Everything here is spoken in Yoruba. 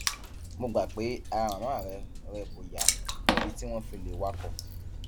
mo gbà pé ara màmá rẹ rẹ kò yá débi tí wọn fi lè wakọ